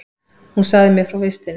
Hún sagði mér frá vistinni.